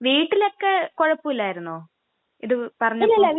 വീട്ടിലൊക്കെ കുഴപ്പമില്ലാരുന്നോ ഇത് പറഞ്ഞപ്പോ?